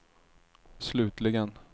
slutligen